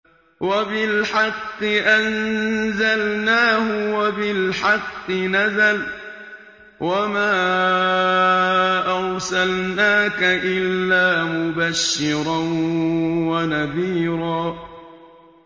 وَبِالْحَقِّ أَنزَلْنَاهُ وَبِالْحَقِّ نَزَلَ ۗ وَمَا أَرْسَلْنَاكَ إِلَّا مُبَشِّرًا وَنَذِيرًا